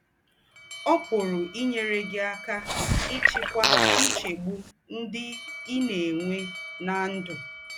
Ọ́ pùrù ínyèrè gị̀ ákà íchíkwà ńchègbù ńdị́ í ná-ènwè ná ndụ́.